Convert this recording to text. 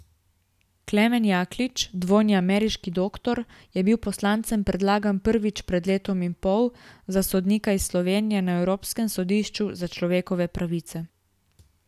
Klemen Jaklič, dvojni ameriški doktor, je bil poslancem predlagan prvič pred letom in pol, za sodnika iz Slovenije na Evropskem sodišču za človekove pravice.